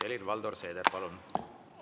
Helir-Valdor Seeder, palun!